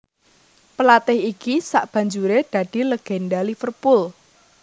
Pelatih iki sabanjuré dadi legenda Liverpool